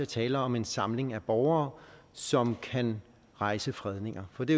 tale om en samling af borgere som kan rejse fredninger for det